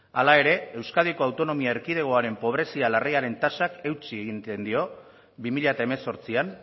hala ere euskadiko autonomia erkidegoaren pobrezia larriaren tasak eutsi egiten dio bi mila hemezortzian